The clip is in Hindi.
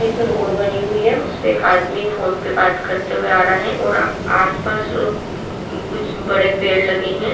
एक रोड बनी हुई है उस पे एक आदमी फोन पे बात करते हुए आ रहा है और आसपास कुछ बड़े पेड़ लगे है।